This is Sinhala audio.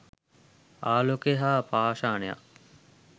ආලෝකය හා පාෂාණයක්